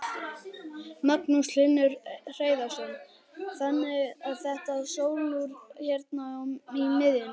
Magnús Hlynur Hreiðarsson: Þannig að þetta sólúr hérna í miðjunni?